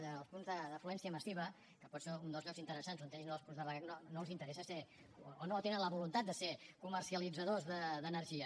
als punts d’afluència massiva que poden ser un dels llocs interessants on hi hagin els punts de recàrrega no els interessa ser o no tenen la voluntat de ser comercialitzadors d’energia